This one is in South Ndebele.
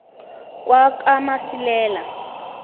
kwakamasilela